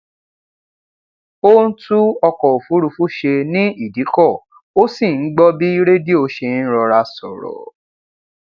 ó ń tún ọkọ òfúrúfú ṣe ní ìdíkọ ó sì ń gbọ bí rédíò se ń rọra sọrọ